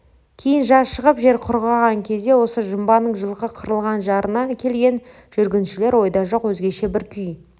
кейін жаз шығып жер құрғаған кезде осы жымбаның жылқы қырылған жарына келген жүргіншілер ойда жоқ өзгеше бір күй